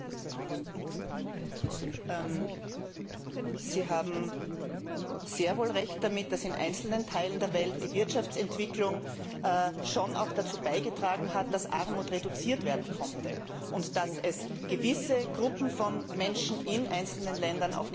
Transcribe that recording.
Sie haben sehr wohl Recht damit, dass in einzelnen Teilen der Welt die Wirtschaftsentwicklung schon auch dazu beigetragen hat, dass Armut reduziert werden konnte, und dass es gewissen Gruppen von Menschen in einzelnen Ländern auch gelungen ist, einen höheren Lebensstandard und weniger Armut zu haben.